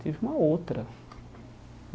Teve uma outra.